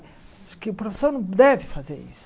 Que o professor não deve fazer isso.